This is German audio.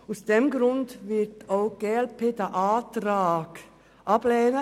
Aus diesem Grund wird auch die glp den Antrag ablehnen.